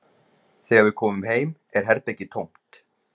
Þegar við komum heim er herbergið tómt